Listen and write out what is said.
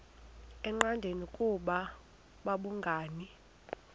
engqanweni ukuba babhungani